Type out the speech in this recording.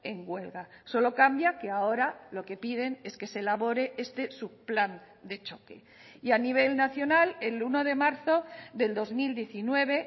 en huelga solo cambia que ahora lo que piden es que se elabore este subplan de choque y a nivel nacional el uno de marzo del dos mil diecinueve